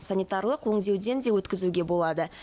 санитарлық өңдеуден де өткізуге болады